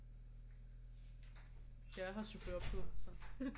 Jeg har chauffør på så